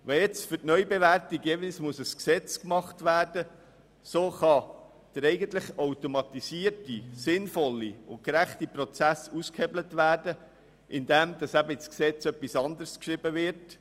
Wenn nun für die Neubewertung jeweils ein Gesetz gemacht werden muss, kann der eigentlich automatisierte, sinnvolle und gerechte Prozess ausgehebelt werden, indem etwas anderes in das Gesetz geschrieben wird.